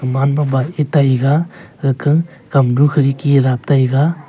e taiga eka kamnu khirki dap taiga.